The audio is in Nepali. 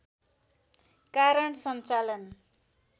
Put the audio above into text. कारण सञ्चालन